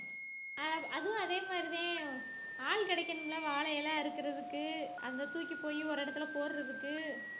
அ~ அதுவும் அதே மாதிரி தான் ஆள் கிடைக்கணும்ல வாழை இலை அறுக்கறதுக்கு அந்த தூக்கிப்போயி ஒரு இடத்துல போடுறதுக்கு